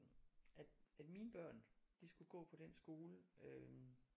At mine børn de skulle gå på den skole øh